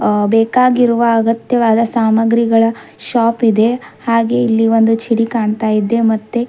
ಅ ಬೇಕಾಗಿರುವ ಅಗತ್ಯವಾದ ಸಾಮಾಗ್ರಿಗಳ ಶಾಪ್ ಇದೆ ಹಾಗೆ ಇಲ್ಲಿ ಒಂದು ಚಿಡಿ ಕಾಣತ್ತಾ ಇದೆ ಮತ್ತೆ--